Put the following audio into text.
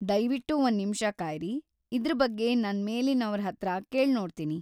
ದಯ್ವಿಟ್ಟು ಒಂದ್‌ ನಿಮ್ಷ ಕಾಯ್ರಿ.‌ ಇದ್ರ್ ಬಗ್ಗೆ ನನ್‌ ಮೇಲಿನವ್ರ್‌ ಹತ್ರ ಕೇಳ್ನೋಡ್ತಿನಿ.